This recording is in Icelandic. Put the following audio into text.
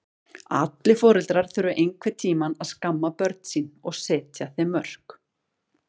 Allir foreldrar þurfa einhvern tíma að skamma börn sín og setja þeim mörk.